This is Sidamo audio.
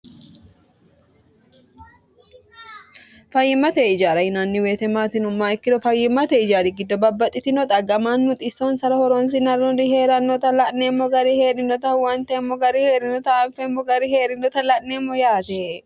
fayyimmate ijaara yinanni weete maati yinumma ikkiro fayyimmate ijaari giddo babbaxxitino xaggamaannu xissonsara horonsi narunri hee'rannota la'neemmo gari hee'rinota huwanteemmo gari hee'rinota anfeemmo gari hee'rinota la'neemmo yaate